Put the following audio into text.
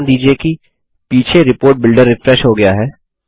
ध्यान दीजिये कि पीछे रिपोर्ट बिल्डर रिफ्रेश हो गया है